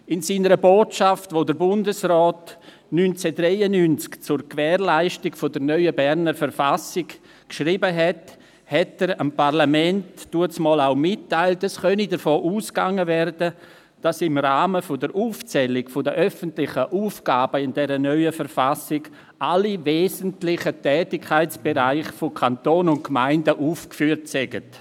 In seiner Botschaft, die der Bundesrat 1993 zur Gewährleistung der neuen Berner Verfassung geschrieben hat, hat er dem Parlament mitgeteilt, es könne davon ausgegangen werden, dass im Rahmen einer Aufzählung der öffentlichen Aufgaben in dieser neuen Verfassung alle wesentlichen Tätigkeitsbereiche von Kanton und Gemeinden aufgeführt würden.